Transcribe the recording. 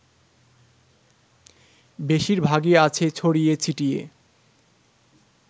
বেশিরভাগই আছে ছড়িয়ে ছিটিয়ে